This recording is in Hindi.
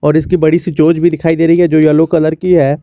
इसकी बड़ी सी चोंच भी दिखाई दे रही है जो येलो कलर की है।